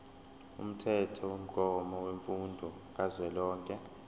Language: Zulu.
umthethomgomo wemfundo kazwelonke